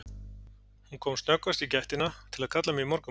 Hún kom snöggvast í gættina til að kalla mig í morgunmat.